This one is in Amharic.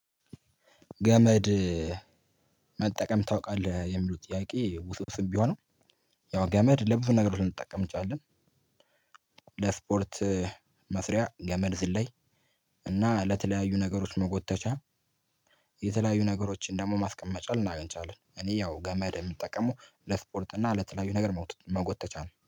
ገመድ መጠቀም ታውቃልህ? የምለው ጥያቄ ውስብስብ ብሆንም ያው ገመድ ለብዙ ነገሮች ልንጠቀም እንችላለን። ለስፖርት መስሪያ ገመድ ዝለይ እና ለተለያዩ ነገሮች መጎተቻ የተለያዩ ነገሮችን ደግሞ ማስቀመጫ ልናገኝ እንችላለን። እኔ ያው ገመድ የምጠቀመው ለስፖርት እና ለተለያዩ ነገር መጎተቻ ነው።